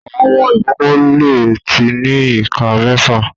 Àwọn ọmọ ìkókó lẹ tí ní ìká méfà.